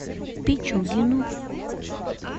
пичугину